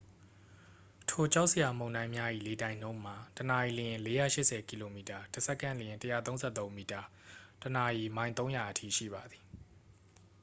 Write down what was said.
ထိုကြောက်စရာမုန်တိုင်းများ၏လေတိုက်နှုန်းမှာ တစ်နာရီလျှင် ၄၈၀ ကီလိုမီတာ တစ်စက္ကန့်လျှင် ၁၃၃ မီတာ ၊ တစ်နာရီ မိုင် ၃၀၀ အထိရှိပါသည်။